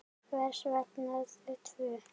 Hvers vegna þau tvö?